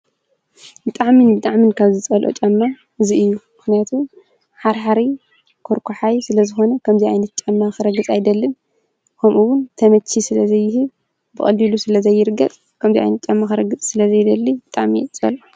ብጣዕምን ብጣዕምን ካብ ዝፀልኦ ጫማ እዚ እዩ፡፡ ምኽንያቱ ሓርሓሪ ኮርኳሓይ ስለዝኾነ ከምዚ ዓይነት ጫማ ክረግፅ ኣይደልን፡፡ ከምኡ ውን ተመቺ ስለዘይህብ ብቀሊሉ ስለዘይርገፅ፣ ከምዚ ዓይነት ጫማ ክረግፅ ስለዝይደሊ ብጣዕሚ እየ ዝፀልኦ።